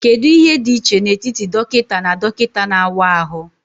Kedu ihe dị iche n'etiti dọkịta na dọkịta na-awa ahụ?